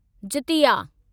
Jitiya